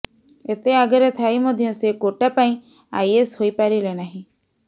ଏତେ ଆଗରେ ଥାଇ ମଧ୍ଯ ସେ କୋଟା ପାଇଁ ଆଇଏସ ହୋଇ ପାରିଲେ ନାହିଁ